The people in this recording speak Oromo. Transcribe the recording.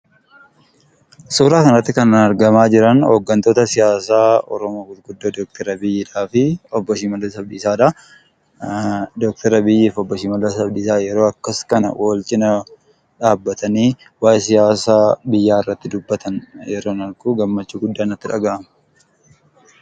Suuraa kanarratti kan argamaa jiran hoggantoota siyaasaa Oromoo gurguddoo Dr Abiyyii fi obbo Shimallis Abdiisaa dha. Dr Abiyyii fi obbo Shimallis Abdiisaa yeroo akkas kana walcina dhaabbatanii waa'ee siyaasa biyyaa irratti dubbatan yeroon argu gammachuu guddaa natti dhaga'ama.